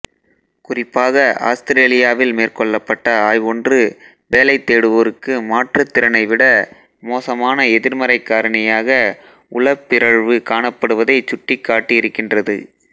குறிப்பாக ஆஸ்திரேலியாவில் மேற்கொள்ளப்பட்ட ஆய்வொன்று வேலைதேடுவோருக்கு மாற்றுத்திறனை விட மோசமான எதிர்மறைக் காரணியாக உளப்பிறழ்வு காணப்படுவதை சுட்டிக்காட்டி இருக்கின்றது